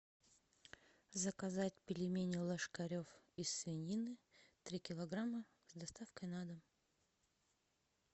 заказать пельмени ложкарев из свинины три килограмма с доставкой на дом